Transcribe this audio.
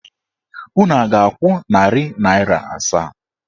Unu a ga-akwụ narị naịra asaa?